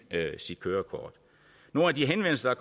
sit kørekort nogle af de henvendelser